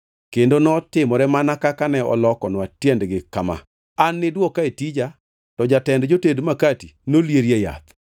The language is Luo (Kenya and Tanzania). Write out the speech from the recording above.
Kendo notimore mana kaka ne olokonwa tiendgi kama: An niduoka e tija, to jatend joted makati nolierie yath.”